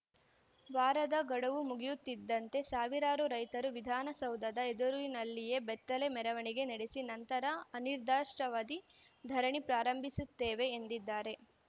ವಾರದ ಗಡುವು ಮುಗಿಯುತ್ತಿದ್ದಂತೆ ಸಾವಿರಾರು ರೈತರು ವಿಧಾನಸೌಧದ ಎದುರಿನಲ್ಲಿಯೇ ಬೆತ್ತಲೆ ಮೆರವಣಿಗೆ ನಡೆಸಿ ನಂತರ ಅನಿರ್ದಿಷ್ಟಾವಧಿ ಧರಣಿ ಪ್ರಾರಂಭಿಸುತ್ತೇವೆ ಎಂದಿದ್ದಾರೆ